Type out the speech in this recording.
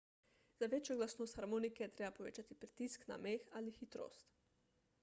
za večjo glasnost harmonike je treba povečati pritisk na meh ali hitrost